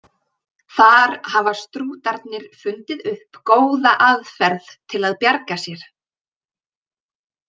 Þar hafa strútarnir fundið upp góða aðferð til að bjarga sér.